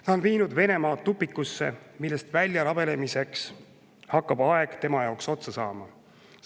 Ta on viinud Venemaa tupikusse, millest välja rabelemiseks hakkab aeg tema jaoks otsa saama.